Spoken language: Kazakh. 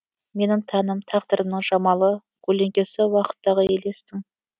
менің тәнім тағдырымның жамалы көлеңкесі уақыттағы елестің